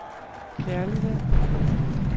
kærligheden